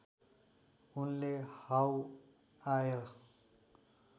उनले हाउ आय